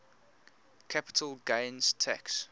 capital gains tax